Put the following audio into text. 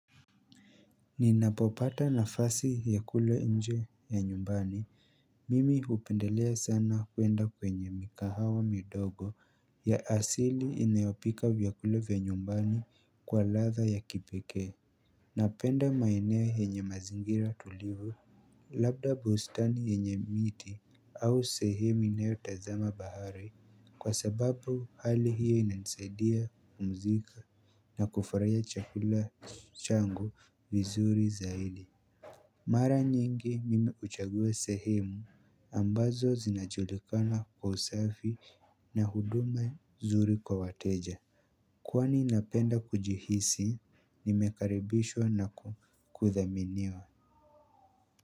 Ninapopata nafasi ya kula nje ya nyumbani mimi hupendelea sana kwenda kwenye mikahawa midogo ya asili inayopika vyakula vya nyumbani kwa ladha ya kipekee. Napenda maeneo yenye mazingira tulivu. Labda bustani yenye miti au sehemu inayo tazama bahari kwa sababu hali hiyo ina nisaidia kupumzika na kufurahia chakula changu vizuri zaidi. Mara nyingi mimi huchagua sehemu ambazo zinajulikana kwa usafi na huduma nzuri kwa wateja. Kwani napenda kujihisi nimekaribishwa na kudhaminiwa.